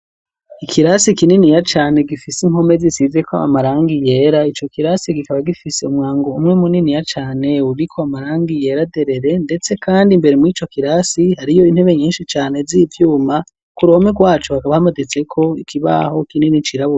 Ikirasi kininiya cane gifise impome zisizeko amarangi yera, ico kirasi gikaba gifise umwango umwe muniniya cane uriko amarangi yera. derere ndetse kandi imbere mur'icokirasi hariyo intebe nyinshi cane zivyuma, ku ruhome rwacu hakaba hamaditseko ikibaho kinini cirabura.